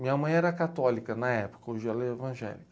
Minha mãe era católica na época, hoje ela é evangélica.